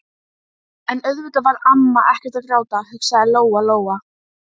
En auðvitað var amma ekkert að gráta, hugsaði Lóa Lóa.